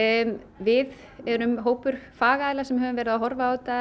við erum hópur fagaðila sem hefur verið að horfa á þetta